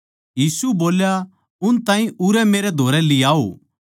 यीशु बोल्या उन ताहीं उरै मेरै धोरै लियाओ